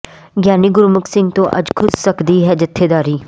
ਗਿਆਨੀ ਗੁਰਮੁਖ ਸਿੰਘ ਤੋਂ ਅੱਜ ਖੁੱਸ ਸਕਦੀ ਹੈ ਜਥੇਦਾਰੀ